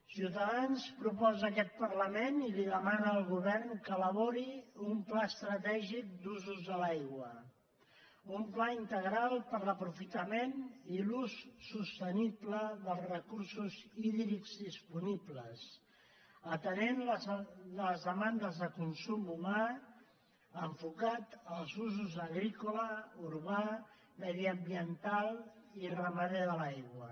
ciutadans proposa a aquest parlament i demana al govern que elabori un pla estratègic d’usos de l’aigua un pla integral per a l’aprofitament i l’ús sostenible dels recursos hídrics disponibles que atengui les de·mandes de consum humà enfocat als usos agrícola urbà mediambiental i ramader de l’aigua